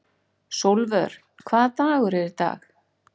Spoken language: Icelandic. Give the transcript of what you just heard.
Sólvör, hvaða dagur er í dag?